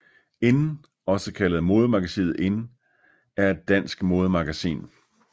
IN også kaldet Modemagasinet IN er et dansk modemagasin